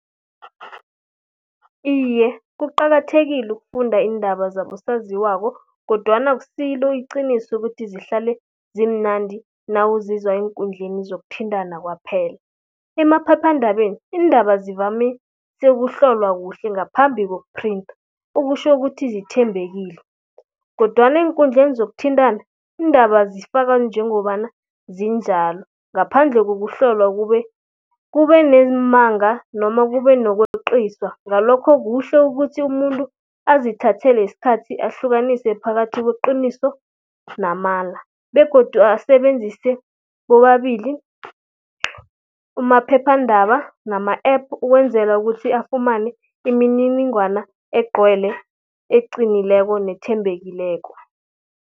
Iye, kuqakathekile ukufunda iindaba zabosaziwako kodwana akusilo iqiniso ukuthi zihlale zimnandi nawuzizwa eenkundleni zokuthintana kwaphela. Emaphephandabeni iindaba zivamise ukuhlolwa kuhle ngaphambi koku-printer okutjho ukuthi zithembekile kodwana eenkundleni zokuthintana iindaba zifakwa njengobana zinjalo ngaphandle kokuhlolwa. Kube neemanga noma kube nokweqiswa ngalokho kuhle ukuthi umuntu azithathele isikhathi ahlukanise phakathi kweqiniso namala. Begodu asebenzise bobabili umaphephandaba nama-app ukwenzela ukuthi afumane imininingwana egcwele eqinileko nethembekileko.